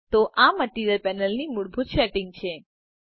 તો આ મટીરીઅલ પેનલની મૂળભૂત સેટિંગ્સ છે